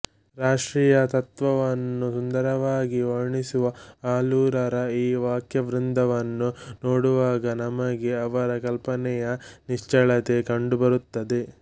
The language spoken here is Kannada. ರಾಷ್ಟ್ರೀಯತ್ವವನ್ನು ಸುಂದರವಾಗಿ ವರ್ಣಿಸುವ ಆಲೂರರ ಈ ವಾಕ್ಯವೃಂದವನ್ನು ನೋಡುವಾಗ ನಮಗೆ ಅವರ ಕಲ್ಪನೆಯ ನಿಚ್ಚಳತೆ ಕಂಡುಬರುತ್ತದೆ